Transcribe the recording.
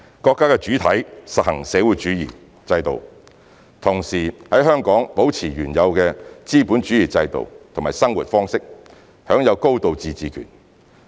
國家的主體實行社會主義制度，同時在香港保持原有的資本主義制度和生活方式，享有高度自治權。